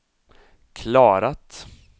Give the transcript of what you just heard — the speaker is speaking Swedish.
klarat